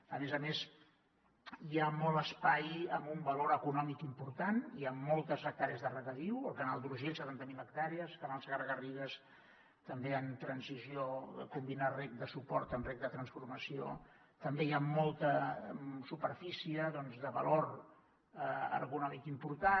a més a més hi ha molt espai amb un valor econòmic important hi ha moltes hectàrees de regadiu el canal d’urgell setanta mil hectàrees canal segarra garrigues també en transició combinar reg de suport amb reg de transformació també hi ha molta superfície de valor econòmic important